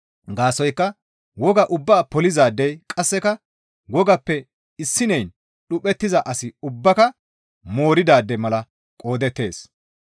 Gaasoykka wogaa ubbaa polizaadey qasseka wogappe issineyn dhuphettiza asi ubbaaka mooridaade mala qoodettees.